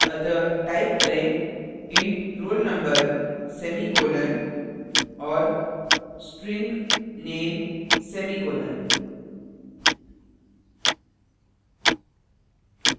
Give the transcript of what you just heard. अतः type करें int roll _ number semicolon और string nameसेमीकॉलन